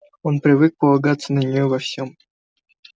он привык полагаться на нее во всем